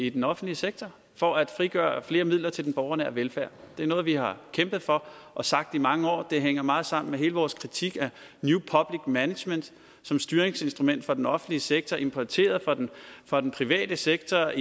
i den offentlige sektor for at frigøre flere midler til den borgernære velfærd det er noget vi har kæmpet for og sagt i mange år det hænger meget sammen med hele vores kritik af new public management som styringsinstrument for den offentlige sektor importeret fra den private sektor